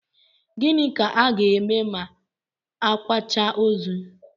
Gịnị ka a ga-eme ma a kwachaa ozu?